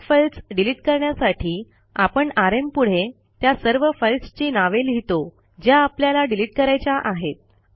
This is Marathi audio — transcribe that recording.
अनेक फाईल्स डिलिट करण्यासाठी आपण आरएम पुढे त्या सर्व फाईल्सची नावे लिहितो ज्या आपल्याला डिलिट करायच्या आहेत